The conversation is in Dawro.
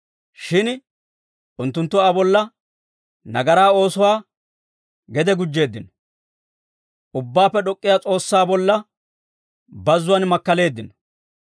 Shin unttunttu Aa bolla nagaraa oosuwaa gede gujjeeddino; Ubbaappe D'ok'k'iyaa S'oossaa bolla, bazzuwaan makkaleeddino.